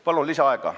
Palun lisaaega!